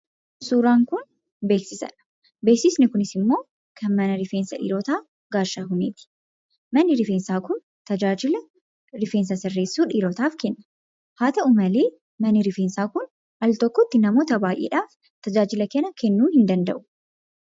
Suuraan kun beeksisadha. Beeksisni kunis immoo kan mana rifeensaa dhiirotaa Gaashahuuniiti. Manni rifeensaa kun tajaajila rifeensa sirreessuu dhiirotaaf kenna. Haa ta'u malee manni rifeensaa kun altokkotti namoota hedduuf tajaajila kennuu hin danda’u.